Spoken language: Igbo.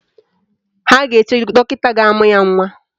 Ha ga-eche dọkịta ga-amụ ya nwa